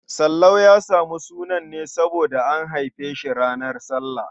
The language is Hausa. Sallau ya samu sunansa ne saboda an haife shi ranar sallah.